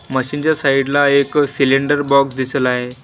Machine च्या side ला एक सिलेंडर बॉक्स दिसला आहे.